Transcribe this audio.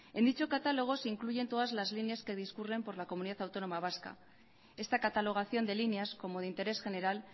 en dicho catálogo se incluyen todas las líneas que discurren por la comunidad autónoma vasca esta catalogación de líneas como de interés general